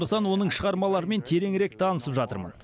сондықтан оның шығармаларымен тереңірек танысып жатырмын